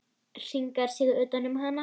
Hringar sig utan um hana.